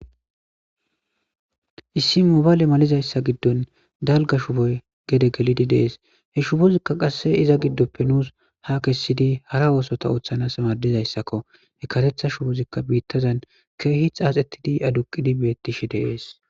Issi mobaale malizayssa giddon dalga shuboy gede gelidi deees he shubozikka qasse iza giddoppe nuus ha kessidi hara oosota ooththanas madizayssakko he katetha shubozikka biittazan keehith aaxetidi aduqidi beettishe deees.